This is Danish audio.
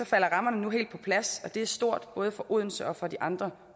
falder rammerne nu helt på plads og det er stort både for odense og for de andre